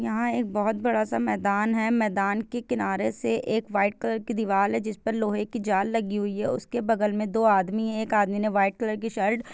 यहाँ एक बहुत बड़ा सा मैदान है मैदान के किनारे से एक व्हाइट कलर की दीवाल है जिस पर लोहे की जाल लगी हुई है उसके बगल में दो आदमी है एक आदमी ने व्हाइट कलर की शर्ट --